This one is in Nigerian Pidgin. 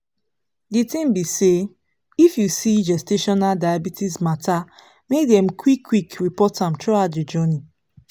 the tin be say if you see gestational diabetes matter make dem qik qik report am throughout the journey